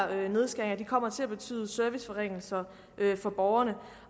her nedskæringer kommer til at betyde serviceforringelser for borgerne